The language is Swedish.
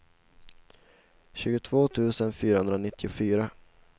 tjugotvå tusen fyrahundranittiofyra